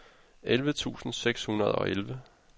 elleve tusind seks hundrede og elleve